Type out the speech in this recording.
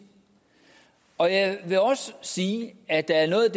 og jeg vil også sige at der er noget